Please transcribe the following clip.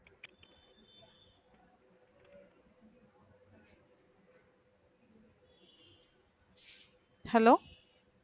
hello